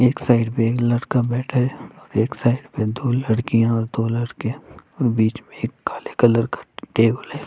एक साइड में एक लड़का बैठा है एक साइड में दो लड़कियाँ और दो लड़के और बीच में एक काले कलर का टेबल है।